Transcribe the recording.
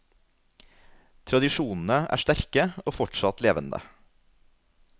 Tradisjonene er sterke og fortsatt levende.